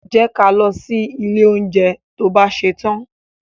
Jẹ́ ka lọ sí ilé oúnjẹ to bá ṣetán.